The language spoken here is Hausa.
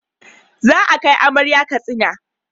Za a kai amarya Katsina